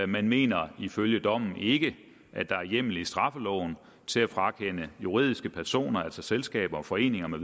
man mener ifølge dommen ikke at der er hjemmel i straffeloven til at frakende juridiske personer altså selskaber og foreninger